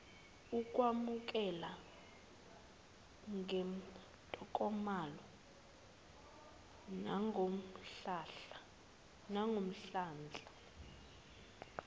ukwamukelwa ngentokomalo nangomdlandla